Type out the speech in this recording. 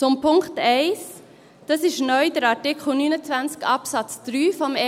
Zum Punkt 1: Das ist neu der Artikel 29 Absatz 3 EG AIG.